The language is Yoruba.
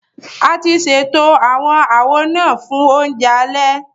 A ti ṣètò àwọn àwo náà fún oúnjẹ alẹ